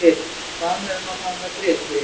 Sko, hann bað mig um að fara með bréf til þín.